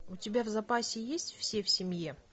у тебя в запасе есть все в семье